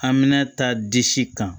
Hamina ta disi kan